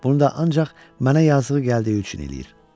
Bunu da ancaq mənə yazığı gəldiyi üçün eləyir.